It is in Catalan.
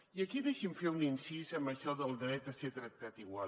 i aquí deixi’m fer un incís en això del dret a ser tractat igual